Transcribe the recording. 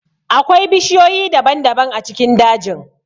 Akwai bishiyoyi daban-daban a cikin dajin.